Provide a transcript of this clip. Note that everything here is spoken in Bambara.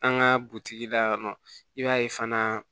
An ka butigi la yan nɔ i b'a ye fana